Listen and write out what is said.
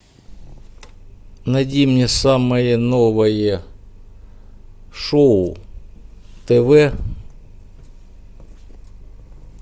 найди мне самое новое шоу тв